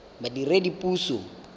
badiredipuso